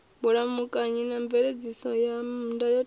vhulamukanyi na mveledziso ya ndayotewa